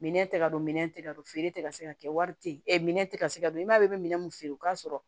Minɛn tɛ ka don minɛn tɛ ka don feere tɛ ka se ka kɛ wari tɛ yen minɛ tɛ ka se ka don i m'a ye i bɛ minɛn min feere o ka sɔrɔ